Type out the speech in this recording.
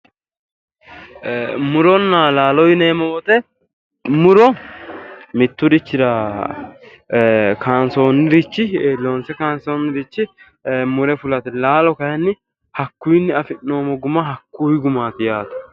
Muronna laalo yineemmo wote, mitturichira kaansoonnirichi, loonse kaansoonnirichi mure fulate. laalo kaayiinni hakkuyiinni afi'nnoommo guma hakkuyi gumaati.